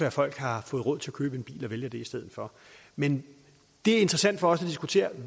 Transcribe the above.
at folk har fået råd til at købe en bil og vælger det i stedet for men det er interessant for os at diskutere